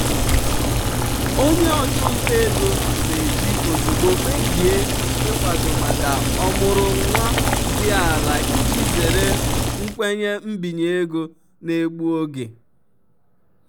onye ọchụnta ego na-eji ozugbo kpebie ịkwado maka ọmụrụ nwa dị ala iji zere nkwenye mbinye ego na-egbu oge.